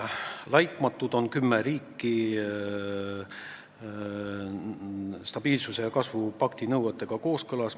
Laitmatud on kümme riiki, nende eelarved on stabiilsuse ja kasvu pakti nõuetega kooskõlas.